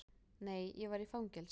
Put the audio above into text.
Nei, ég var í fangelsi.